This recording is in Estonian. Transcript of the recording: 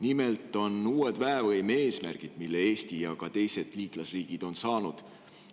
Nimelt on uued väevõime eesmärgid, mille Eesti ja ka teised liitlasriigid on saanud.